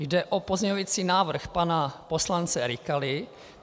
Jde o pozměňovací návrh pana poslance Rykala.